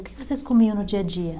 O que vocês comiam no dia a dia?